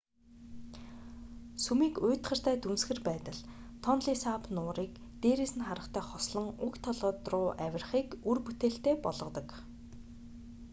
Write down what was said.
сүмийг уйтгартай дүнсгэр байдал тонле сап нуурыг дээрээс нь харахтай хослон уг толгод руу авирахыг үр бүтээлтэй болгодог